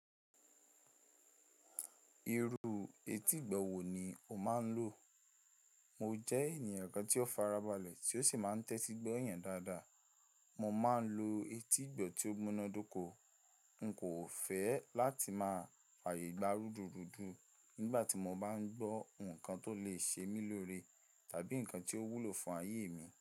Irú etíìgbó wò ni o má n lò? Mo jẹ́ ènìyàn kan tí ó farabalẹ̀ tí ó sì máa ń tẹ́tí gbẹ́yàn dáadáa. Mo máa ń lo etígbà tí ó gbóná dóko. N kò fẹ́ láti máa fàyè gba rúdurùdu nígbà tí mo bá ń gbọ́ nǹkan tó lè ṣe mí lóre tàbí ǹkan tí ó wúlò fún ayé mi.